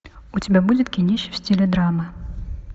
у тебя будет кинище в стиле драма